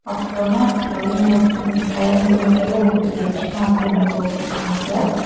அப்புறமா ட்ரெயின் ட்ரெயினுக்கு மேல ஒரு பிரிட்ஜ் மாதிரி ஒன்னு போட்டிருக்காங்க.